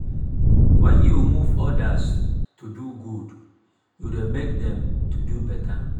wen yu move odas to do good yu dey mek dem to do beta.